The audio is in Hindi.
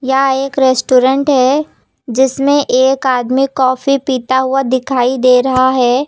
यहाँ एक रेस्टोरेंट है जिसमें एक आदमी कॉफी पीता हुआ दिखाई दे रहा है।